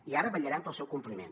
i ara vetllarem pel seu compliment